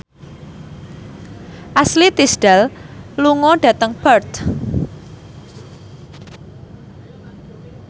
Ashley Tisdale lunga dhateng Perth